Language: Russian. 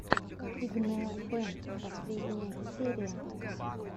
игнея бэнд последняя серия